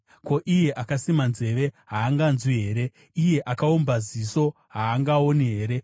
Ko, iye akasima nzeve, haanganzwi here? Iye akaumba ziso haangaoni here?